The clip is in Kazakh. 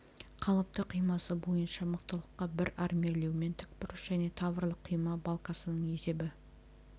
қалыпты қимасы бойынша мықтылыққа бір армирлеумен тікбұрыш және таврлық қима балкасының есебі